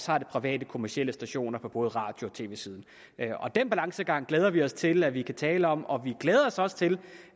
har de private kommercielle stationer på både radio og tv siden den balancegang glæder vi os til at vi kan tale om og vi glæder os også til